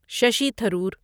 Shashi Tharoor